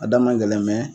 A da man gɛlɛn